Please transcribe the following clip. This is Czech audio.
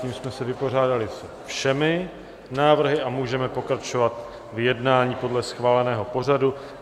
Tím jsme se vypořádali se všemi návrhy a můžeme pokračovat v jednání podle schváleného pořadu.